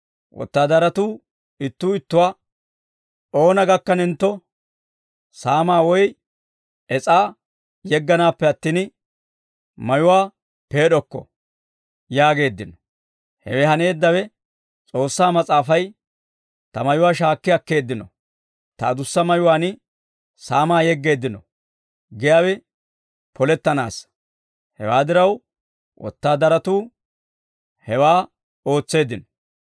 Wotaadaratuu ittuu ittuwaa, «Oona gakkanentto, saamaa woy es'aa yegganaappe attin, mayuwaa peed'okko» yaageeddino. Hewe haneeddawe S'oossaa Mas'aafay, «Ta mayuwaa shaakki akkeeddino; ta adussa mayuwaan saamaa yeggeeddino» giyaawe polettanaassa. Hewaa diraw, wotaadaratuu hewaa ootseeddino.